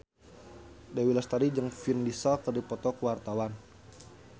Dewi Lestari jeung Vin Diesel keur dipoto ku wartawan